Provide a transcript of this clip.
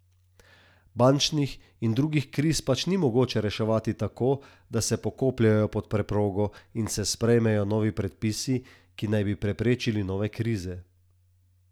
Bančnih in drugih kriz pač ni mogoče reševati tako, da se pokopljejo pod preprogo in se sprejmejo novi predpisi, ki naj bi preprečili nove krize.